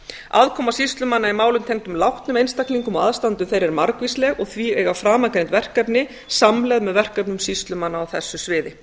aðkoma sýslumanna í málum tengdum látnum einstaklingum og aðstandendum þeirra er margvísleg og því eiga framangreind verkefni samleið með verkefnum sýslumanna á þessu sviði